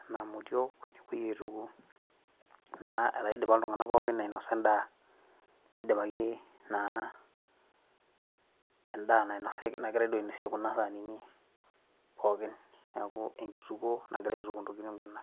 enaa motiok nepuoi aituku naa etaa idipa iltung'anak pookin ainosa endaanidipaki naa endaa. nainosaki nagirae duo ainosie kuna sanini pookin niaku enkitukuo nagirae aituku intokitin kuna.